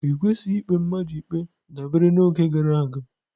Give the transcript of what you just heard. I kwesịghị ikpe mmadụ ikpe dabere n'oge gara aga.